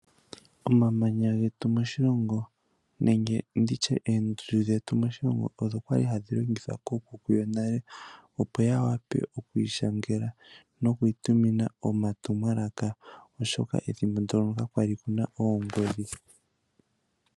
Omamanya getu moshilongo nenge nditye oondundu dhetu moshilongo odho kwali hadhi longithwa koo kuku yetu yonale opo ya wape okunyola no kwiitumina omatumwalaka oshoka ethimbo ndyoka ka kwali kuna oongodhi